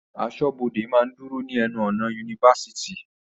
Aṣọ́bọdè máa ń dúró ní ẹnu ọ̀nà ifásitì